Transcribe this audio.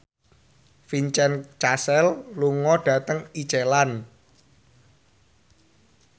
Vincent Cassel lunga dhateng Iceland